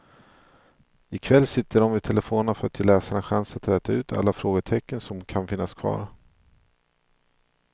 Ikväll sitter de vid telefonerna för att ge läsarna chans att räta ut alla frågetecken som kan finnas kvar.